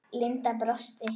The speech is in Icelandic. Linda brosti.